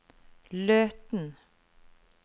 Løten